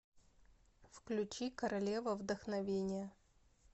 включи королева вдохновения